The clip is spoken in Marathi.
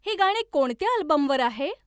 हे गाणे कोणत्या अल्बमवर आहे